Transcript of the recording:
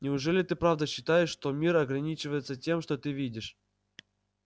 неужели ты правда считаешь что мир ограничивается тем что ты видишь